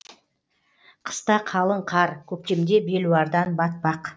қыста қалың қар көктемде белуардан батпақ